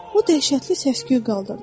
O dəhşətli səs-küy qaldırdı.